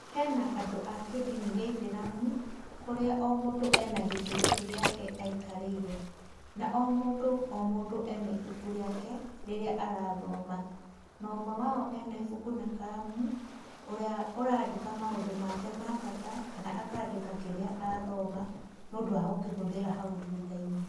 Hĩna andũ a kĩindini kĩa aithĩramu, kũrĩa o mũndũ ena gĩtĩ gĩake aikarĩire, na o mũndũ o mũndũ ena ibuku rĩake rĩrĩa arathoma, na ũmwe wao ena ibuku na karamu, ũrĩa ũraandĩka maũndũ make ma bata, kana akandĩka kĩrĩa athoma nĩũndũ wa gũkihũthira hau thuthainĩ.